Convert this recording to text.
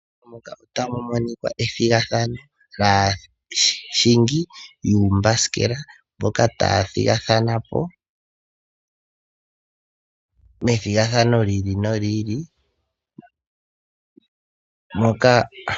Muka otamu monikwa ethigathano laahingi yuumbasikela, mboka taya thigathana po methigathano li ili noli ili.